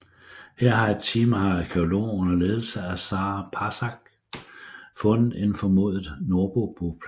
Her har et team af arkæologer under ledelse af Sarah Parcak fundet en formodet nordboboplads